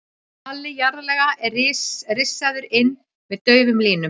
Halli jarðlaga er rissaður inn með daufum línum.